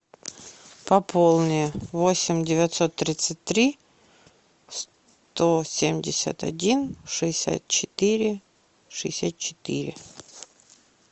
пополни восемь девятьсот тридцать три сто семьдесят один шестьдесят четыре шестьдесят четыре